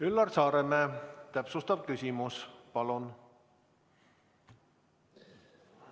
Üllar Saaremäe, täpsustav küsimus, palun!